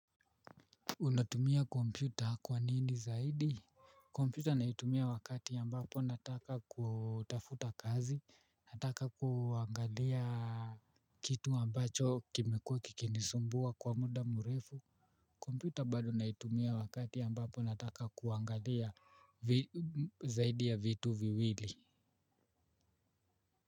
Unatumia kompyuta kwa nini zaidi? Kompyuta naitumia wakati ambapo nataka kutafuta kazi, nataka kuangalia kitu ambacho kimekuwa kikinisumbua kwa muda mrefu. Kompyuta bado naitumia wakati ambapo nataka kuangalia zaidi ya vitu viwili.